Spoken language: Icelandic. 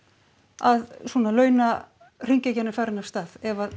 að svona launahringekjan er farin af stað ef